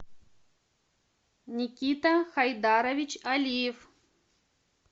никита хайдарович алиев